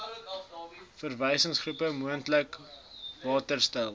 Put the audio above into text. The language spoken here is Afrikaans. verwysingsgroep moontlik mettertydsal